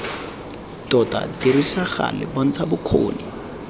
tota dirisa gale bontsha bokgoni